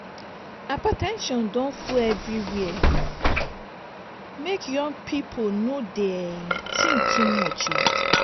hyper ten sion don full everywhere o make young pipu no dey tink too much o.